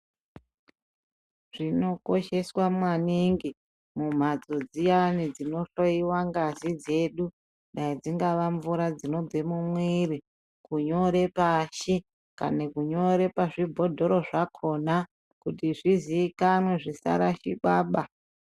Zvinokosheswa maningi mumhatso dziyana dzinohloyiwa ngazi dzedu dai dzingava mvura dzinobva mumwiri kunyora pashi kana kunyora pazvibhodhoro zvakona kuti zvizikanwe zvisharikwa baa.